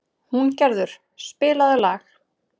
Húngerður, spilaðu lag.